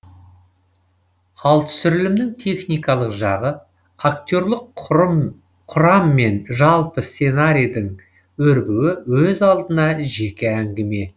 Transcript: ал түсірілімнің техникалық жағы актерлық құрам мен жалпы сценарийдің өрбуі өз алдына жеке әңгіме